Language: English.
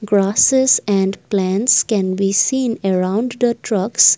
grasses and plants can be seen around the trucks.